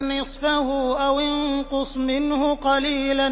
نِّصْفَهُ أَوِ انقُصْ مِنْهُ قَلِيلًا